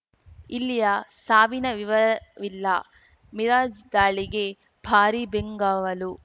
ಇಲ್ಲಿಯ ಸಾವಿನ ವಿವರವಿಲ್ಲ ಮಿರಾಜ್‌ ದಾಳಿಗೆ ಭಾರೀ ಬೆಂಗಾವಲು